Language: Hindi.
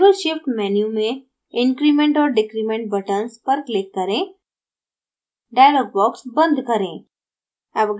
label shift menu में increment or decrement buttons पर click करें